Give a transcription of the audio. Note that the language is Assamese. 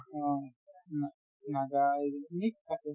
অ, না~ নাগা এইবিলাক mix আছে